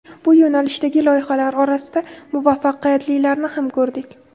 Bu yo‘nalishdagi loyihalar orasida muvaffaqiyatlilarini ham ko‘rdik.